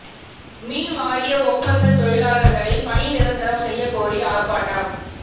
மின் வாரிய ஒப்பந்தத் தொழிலாளா்களை பணி நிரந்தரம் செய்யக் கோரி ஆா்ப்பாட்டம்